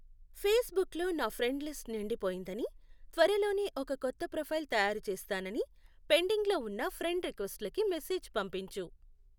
ఫేస్బుక్లో నా friend list నిండిపోయిందని, త్వరలోనే ఒక కొత్త ప్రొఫైల్ తయారుచేస్తానని పెండింగ్లో ఉన్న ఫ్రెండ్ రిక్వెస్టులకి మెసేజ్ పంపించు